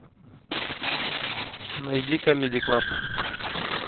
найди камеди клаб